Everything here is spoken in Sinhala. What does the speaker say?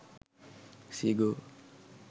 zigo